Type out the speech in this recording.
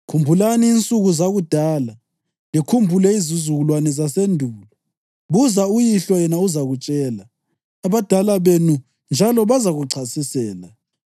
Khumbulani insuku zakudala; likhumbule izizukulwane zasendulo. Buza uyihlo yena uzakutshela, abadala benu, njalo bazakuchasisela.